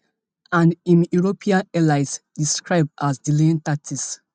and im european allies describe as delaying tactics